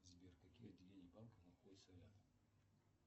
сбер какие отделения банка находятся рядом